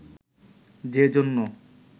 যে জন্য